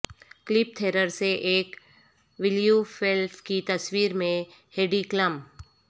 clip تھریر سے ایک ویلیوفیلف کی تصویر میں ہیڈی کلم